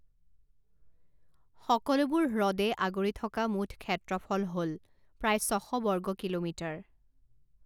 সকলোবোৰ হ্ৰদে আগুৰি থকা মুঠ ক্ষেত্ৰফল হ'ল প্ৰায় ছশ বৰ্গ কিলোমিটাৰ।